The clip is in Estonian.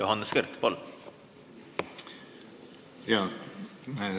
Johannes Kert, palun!